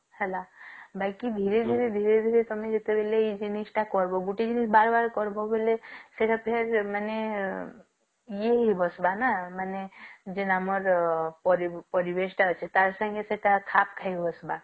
ହେଲା ବାକି ଧୀରେ ଧୀରେ ତଆମେ ଜେଟବେଳେ ଇଏ ଜିନିଷ ଟା କରିବୟ ଗୋଟେ ଜିନିଷ ବାର ବର କରିବ ବୋଲେ ସେଇଟା ଫେର ମାନେ ଏ ହେଇ ବସିବା ନାଁ ମାନେ ଯେନ ଆମର ପାରି~ପରିବେଶ ଟା ଅଛି ଟାର ସଙ୍ଗେ ସେଟା ଖାପ ଖାଇ ବସିବା